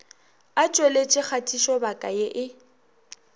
a tšweletše kgatišobaka ye e